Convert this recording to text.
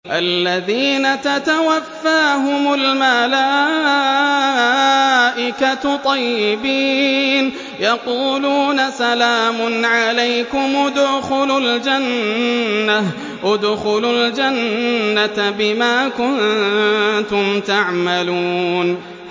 الَّذِينَ تَتَوَفَّاهُمُ الْمَلَائِكَةُ طَيِّبِينَ ۙ يَقُولُونَ سَلَامٌ عَلَيْكُمُ ادْخُلُوا الْجَنَّةَ بِمَا كُنتُمْ تَعْمَلُونَ